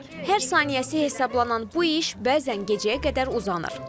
Hər saniyəsi hesablanan bu iş bəzən gecəyə qədər uzanır.